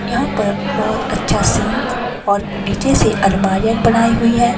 यहाँ पर बहुत अच्छा सिंक और नीचे से अलमारी बनाई हुई है।